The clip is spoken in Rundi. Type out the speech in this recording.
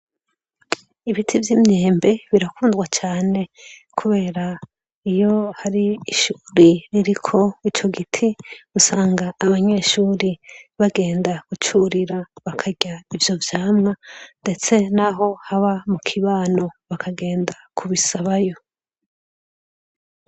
Ibiti vy'imyembe birakundwa cane kubera iyo har'ishuri ririko ico giti usanga abanyeshuri bagenda kucurira bakarya ivyo vyamwa, ndetse naho haba mukibano bakagenda kubisabayo.